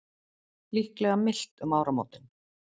Líklega milt um áramótin